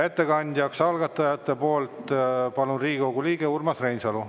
Ettekandeks algatajate nimel palun siia Riigikogu liikme Urmas Reinsalu.